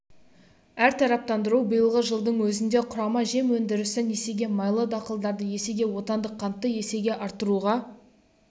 әртараптандыру биылғы жылдың өзінде құрама жем өндірісін есеге майлы дақылдарды есеге отандық қантты есеге арттыруға